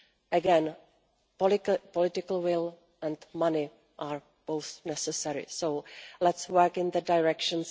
Again, political will and money are both necessary, so let us work in that direction.